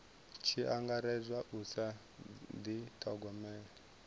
tshi angaredzwa u sa dithogomela